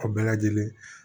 A bɛɛ lajɛlen